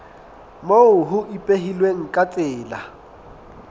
moo ho ipehilweng ka tsela